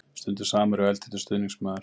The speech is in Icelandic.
Stundum samherji og eldheitur stuðningsmaður.